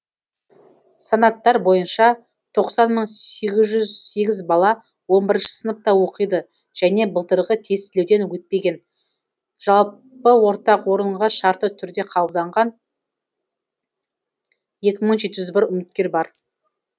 санаттар бойынша тоқсан мың сегіз жүз сегіз бала он бірінші сыныпта оқиды және былтырғы тестілеуден өтпеген жалпы ортақ орынға шартты түрде қабылданған екі мың жеті жүз бір үміткер бар